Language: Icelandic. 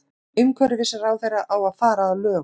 Umhverfisráðherra á að fara að lögum